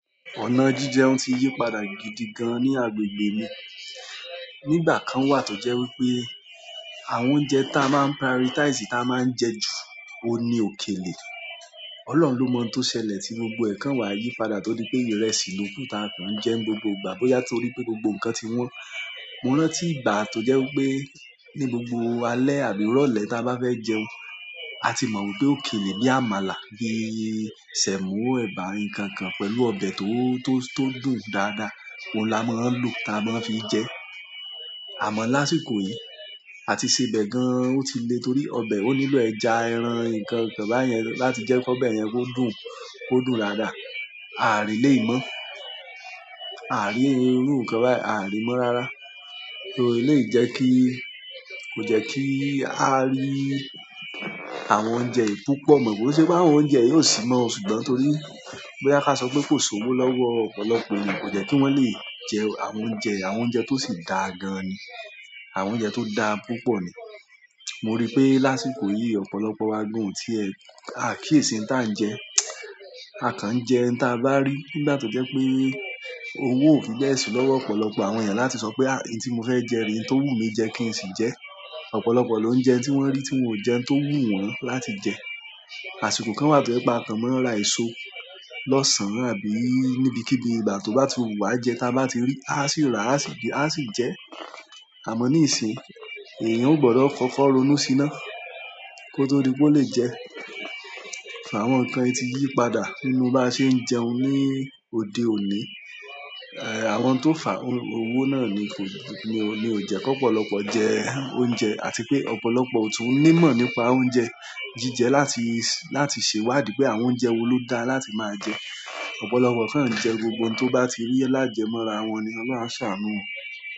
Ọ̀nà jíjẹun ó ti yípadà gidi gan-an ní agbègbè mi. Ní ìgbà kan wà tó jẹ́ wípé àwọn oúnjẹ táa máa ń prioritize, táa máa ń jẹ ju, òun ni òkèlè. Ọlọ́run ló mọ n tó ṣẹlẹ̀ tí gbogbo ẹ̀ kan wá yípadà tó dí pé ìrẹsì ló kù táa kàn ń jẹ ń gbogbo ìgbà, bóyá torí pé gbogbo nǹkan ti wọ́n. Mo rántí ìgbà tó jẹ́ wípé ní gbogbo alẹ́ àbí ìrọ̀lẹ́ táa bá fẹ́ jẹun, a ti mọ̀ wípé òkèlè bí àmàlà, bí sèmó, ẹ̀bà, nǹkan kan pẹ̀lú ọbẹ̀ tó, tó, tó dùn dáadáa, òun la máa ń lò, táa máa ń fií jẹẹ́. Àmọ́ lásìkò yìí, àti sebẹ̀ gan, ó ti le torí ọbẹ̀ ó nílò ẹja, ẹran, nǹkan, nǹkan báyẹn láti jẹ́ kó bẹ́ẹ̀ yẹn kó dùn, kó dùn dáadáa. A àrí lè ìmo. A àrí irú nǹkan báyẹn, aà ri mọ́ rárá. Tóò, eléyìí jẹ́ kí, kò jẹ́ kí a rí àwọn oúnjẹ yìí púpọ̀. But kò ń ṣe páwọn oúnjẹ yìí ò sí mọ́ o, ṣùgbọ́n torí bóyá ká sọ pé kò sówó lọ́wọ́ ọ̀pọ̀lọpọ̀ èèyàn, kò jẹ́ kí wọ́n lè jẹ́ àwọn oúnjẹ yìí, àwọn oúnjẹ tó sì dáa gan-an ni. Àwọn oúnjẹ tó dà púpọ̀ ni. Mo rí pé lásìkò yìí ọ̀pọ̀lọpọ̀ wa gan-an ò tiẹ̀, aà kíyèsí n táà ń jẹ. A kàn ń jẹ n táa bá rí. Nígbà tó jẹ́ pé owó ò fi bẹ́ẹ̀ sí lọ́wọ́ ọ̀pọ̀lọpọ̀ àwọn ènìyàn láti sọ pé, "àbí tí mo fẹ́ jẹ rí, ohun tó wù mí jẹ kí n sì jẹ ẹ́". Ọ̀pọ̀lọpọ̀ ló ń jẹ ẹ́ń tí wọ́n rí tí wọn ò jẹ́ ẹ́ń tó wù wọ́n láti jẹ. Àsìkò kan wà tó jẹ́ pé a kàn máa ń ra èso lọ́sàn-án àbí níbikíbi ìgbà tó bá ti wá jẹ, ta bá ti rí, a sì rà, a sì gbé, a sì jẹ ẹ́. Àmọ́ níìsín, èèyàn ó gbọdọ̀ kọ́kọ́ ronú sí iná kó tó di pó lè jẹ ẹ́. Àwọn nǹkan yìí ti yípadà nínú báa ṣe ń jẹun ní òde òní. Àwọn ohun tó fàá owó náà ni kò ní o, ní ò jẹ́ kó ọ̀pọ̀lọpọ̀ jẹ oúnjẹ àti pé ọ̀pọ̀lọpọ̀ ò tún ní mọ̀ nípa oúnjẹ jíjẹ láti, láti ṣèwádìí pé àwọn oúnjẹ wo ló dáa láti máa jẹ. Ọ̀pọ̀lọpọ̀ kàn ń jẹ gbogbo ohun tó bá ti rí lájẹmọ́ra wọn ni, Ọlọ́run á ṣàánú o.